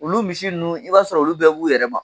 Olu misi nunnu i b'a sɔrɔ olu bɛɛ b'u yɛrɛ ma.